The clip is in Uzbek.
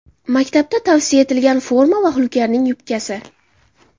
Maktabda tavsiya etilgan forma va Hulkarning yubkasi.